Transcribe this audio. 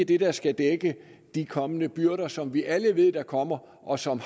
det der skal dække de kommende byrder som vi alle ved kommer og som